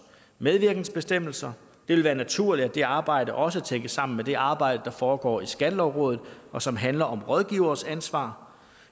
medvirkensbestemmelser det vil være naturligt at det arbejde også tænkes sammen med det arbejde der foregår i skattelovrådet og som handler om rådgiveres ansvar